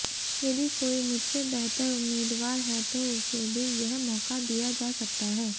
यदि कोई मुझसे बेहतर उम्मीदवार है तो उसे भी यह मौका दिया जा सकता है